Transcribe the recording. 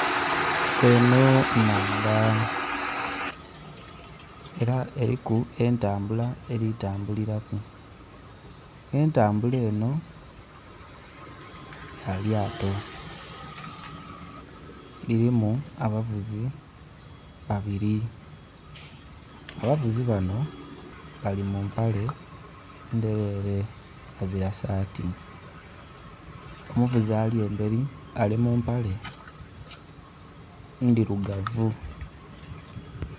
Eno nnhandha ela eliku entambula eli tambulilaku. Entambula eno ya lyato, lilimu abavuzi babili abavuzi bano bali mu mpale ndhelele bazira saati omuvuzi ali embeli ali mu mpale ndhilugavu